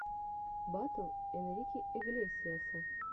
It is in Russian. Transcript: батл энрике иглесиаса